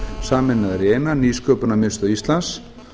sameinaðar í eina nýsköpunarmiðstöð íslands